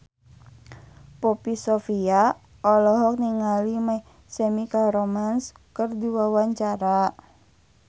Poppy Sovia olohok ningali My Chemical Romance keur diwawancara